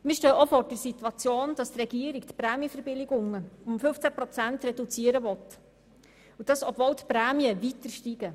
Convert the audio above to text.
Die Regierung will die Prämienverbilligungen um 15 Prozent reduzieren, obwohl die Prämien weiter steigen.